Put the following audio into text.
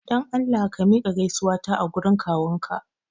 Dan Allah ka miƙa gaisuwata a gurin kawunka!